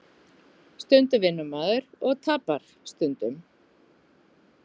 Stundum vinnur maður og tapar stundum